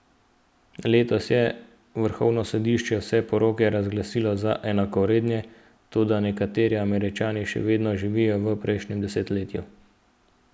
Letos je vrhovno sodišče vse poroke razglasilo za enakovredne, toda nekateri Američani še vedno živijo v prejšnjem desetletju.